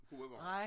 Gode varer